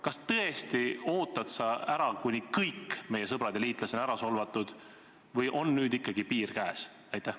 Kas sa tõesti ootad ära, kuni kõik meie sõbrad ja liitlased on solvatud, või on nüüd ikkagi piir käes?